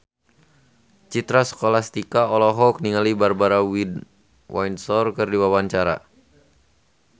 Citra Scholastika olohok ningali Barbara Windsor keur diwawancara